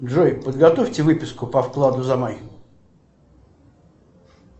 джой подготовьте выписку по вкладу за май